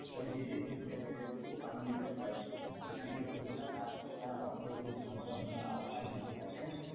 তবে যে দেশ জিতবে সে দেশ খুব আনন্দিত হয় এখান থেকে প্রচুর টাকা অর্থ সম্পদ মানে উপার্জিত হয় তাই না,